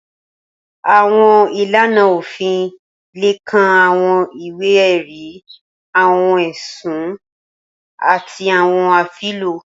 Awọn ilana ofin le kan awọn iwe-ẹri, awọn ẹsun, ati awọn afilọ.